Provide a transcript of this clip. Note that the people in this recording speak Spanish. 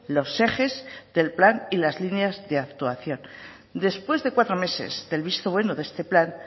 los ejes del plan y las líneas de actuación después de cuatro meses del visto bueno de este plan